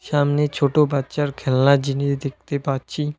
সামনে ছোট বাচ্চার খেলনা জিনিস দেখতে পাচ্ছি।